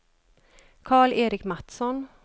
Karl-Erik Mattsson